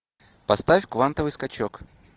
поставь квантовый скачок